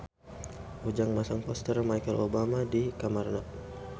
Ujang masang poster Michelle Obama di kamarna